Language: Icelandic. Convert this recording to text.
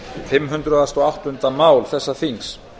fimm hundruð og áttunda mál þessa þings